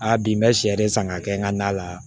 Aa bi n bɛ sɛ de san k'a kɛ n ka na la